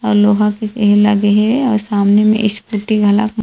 अलुवा के पेड़ लगे हे अउ सामने में स्कूटी घलक --